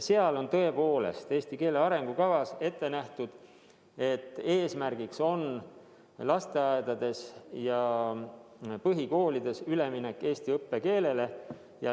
Ja tõepoolest, selles eesti keele arengukavas on ette nähtud, et eesmärgiks on lasteaedades ja põhikoolides minna üle eesti õppekeelele.